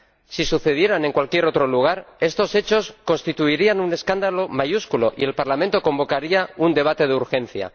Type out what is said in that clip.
Si sucedieran en cualquier otro lugar, estos hechos constituirían un escándalo mayúsculo y el Parlamento convocaría un debate de urgencia.